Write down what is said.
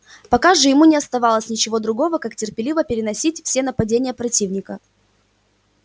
пока же ему не оставалось ничего другого как терпеливо переносить все нападения противника